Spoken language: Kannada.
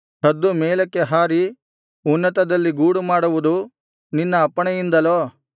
ಹದ್ದು ಮೇಲಕ್ಕೆ ಹಾರಿ ಉನ್ನತದಲ್ಲಿ ಗೂಡುಮಾಡುವುದು ನಿನ್ನ ಅಪ್ಪಣೆಯಿಂದಲೋ